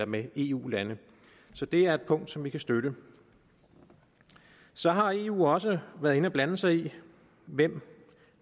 med eu lande så det er et punkt som vi kan støtte så har eu også været inde og blande sig i hvem